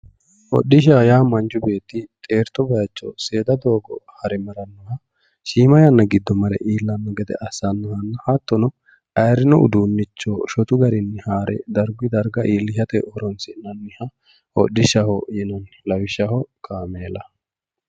Hodhishshaho yaa manchu beetti xerto seeda doogo hare marranoha shiima yanna giddo marre iillano assanoha hattono ayiirino uduunicho shotu garinni harre dargu darga iillishshate horonsi'nanniha kodhishshaho yinanni lawishshaho kaameela.